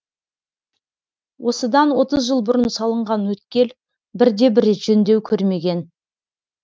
осыдан отыз жыл бұрын салынған өткел бірде бір рет жөндеу көрмеген